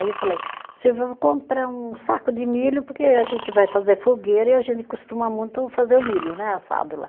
Aí eu falei, se eu vou comprar um saco de milho, porque a gente vai fazer fogueira e a gente costuma muito fazer o milho né, assado lá.